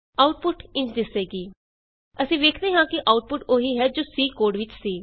output ਇੰਝ ਦਿਸੇਗੀ160 ਅਸੀਂ ਵੇਖਦੇ ਹਾਂ ਕਿ ਆਉਟਪੁਟ ਉਹੀ ਹੈ ਜੋ C ਕੋਡ ਵਿਚ ਸੀ